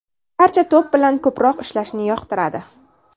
Barcha to‘p bilan ko‘proq ishlashni yoqtiradi.